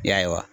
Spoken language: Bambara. Ya